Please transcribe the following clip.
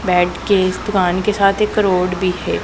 Bed के इस दुकान के साथ एक रोड भी है।